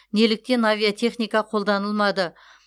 неліктен авиатехника қолданылмады